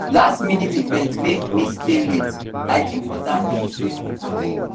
lastminute event make me stay late i dey drink water to stay focused